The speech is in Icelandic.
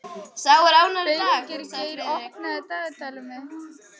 Finngeir, opnaðu dagatalið mitt.